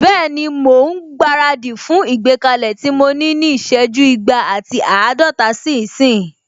Bẹ́ẹ̀ni, mò ún gbára dì fún ìgbékalẹ̀ tí mo ní ní ìsẹ́jú igba ati àádọ́rin sí ìsín